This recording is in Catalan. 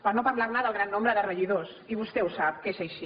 per no parlar del gran nombre de regidors i vostè ho sap que és així